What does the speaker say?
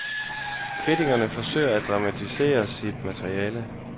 Kritikeren forsøger at dramatisere sit materiale.